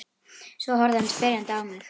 Svo horfði hann spyrjandi á mig.